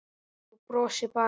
Þú brosir bara!